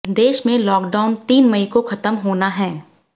देश में लॉकडाउन तीन मई को खत्म होना है